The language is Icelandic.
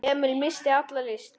Emil missti alla lyst.